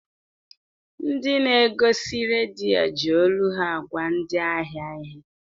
Ndị na-egosi redio ji olu ha agwa ndị ahịa ihe.